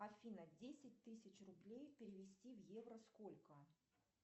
афина десять тысяч рублей перевести в евро сколько